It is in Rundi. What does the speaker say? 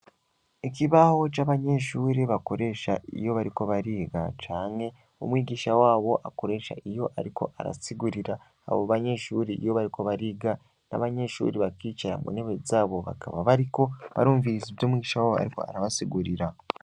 Ikibaho c'abanyeshuri bakoresha iyo bariko bariga canke umwigisha wabo akoresha iyo, ariko arasigurira abo banyeshuri iyo bariko bariga n'abanyeshuri bakicara mu ntewe zabo bakaba bariko barumvirisa ivyo umwica wabo, ariko arabasigurira.